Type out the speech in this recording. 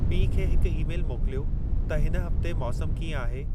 पीउ खे हिकु ई-मेलु मोकिलियो त हिन हफ़्ते मौसमु कीअं आहे